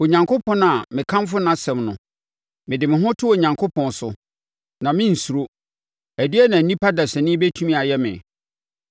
Onyankopɔn a mekamfo nʼasɛm no, mede me ho to Onyankopɔn so, na merensuro. Ɛdeɛn na onipa dasani bɛtumi ayɛ me?